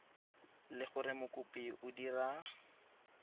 le gore mokopi o dira